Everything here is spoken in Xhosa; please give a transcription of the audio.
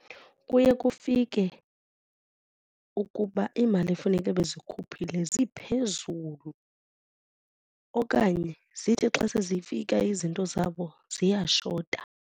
Kuye kufike ukuba iimali efuneke bezikhe buphile ziphezulu okanye zithi xa sezifika izinto zabo ziyashota.